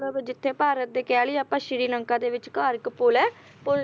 ਮਤਲਬ ਜਿੱਥੇ ਭਾਰਤ ਦੇ ਕਹਿ ਲੀਏ ਆਪਾ ਸ਼੍ਰੀ ਲੰਕਾ ਦੇ ਵਿੱਚਕਾਰ ਇੱਕ ਪੁੱਲ ਹੈ, ਪੁੱਲ